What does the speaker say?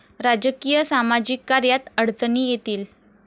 राजकीय, सामाजिक कार्यात अडचणी येतील.